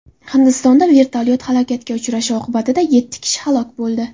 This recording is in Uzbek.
Hindistonda vertolyot halokatga uchrashi oqibatida yetti kishi halok bo‘ldi.